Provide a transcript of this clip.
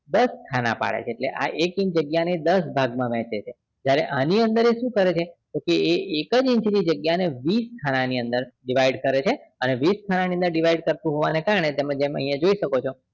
દસ ખાના પાડે છેએટલે કે આ એક inch જગ્યા ને દસ ભાગ માં વહેચે છે જ્યારે આની અંદર શું કરે છે એક જ inch ની જગ્યા ને વીસ ખાના ની અંદર divide કરે છે અને વીસ ખાના ની અંદર divide કરતુ હોવાના કારણે તેમજ આહિયા જોઈ શકો છો